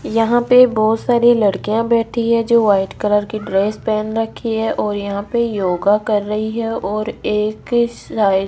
यहाँ पे बहोत सारी लड़कियां बैठी हैं जो व्हाइट कलर कि ड्रेस पहन रखी हैं और यहाँ पे योगा कर रही हैं और एक हि साइड --